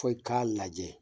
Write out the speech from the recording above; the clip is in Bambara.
Fo i k'a lajɛ